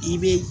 I be